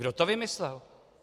Kdo to vymyslel?